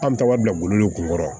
An bɛ taaga bila bolo kunkɔrɔ